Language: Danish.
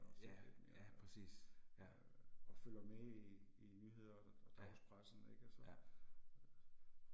Ja, ja, præcis, ja. Ja, ja